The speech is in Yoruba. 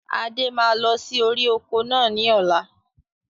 Adé máa lọ sí orí oko náà ni ọ̀la